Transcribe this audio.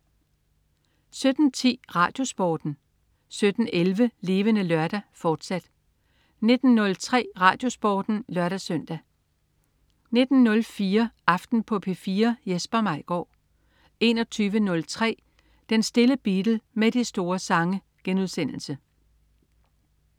17.10 RadioSporten 17.11 Levende Lørdag, fortsat 19.03 RadioSporten (lør-søn) 19.04 Aften på P4. Jesper Maigaard 21.03 Den stille Beatle med de store sange*